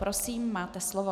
Prosím, máte slovo.